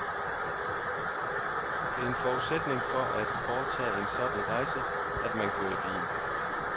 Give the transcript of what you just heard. Det er en forudsætning for at foretage en sådan rejse, at man kører i bil.